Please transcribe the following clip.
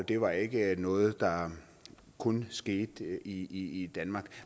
det var ikke noget der kun skete i i danmark